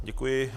Děkuji.